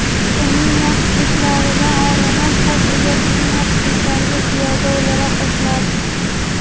Uning yaxshiliklaridan olinib, qarz egasining yaxshiliklariga ziyoda o‘laroq qo‘shiladi.